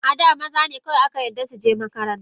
Ada, mazane kawai aka yadda suje makaranta.